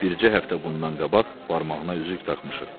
Bircə həftə bundan qabaq barmağına üzük taxmışıq.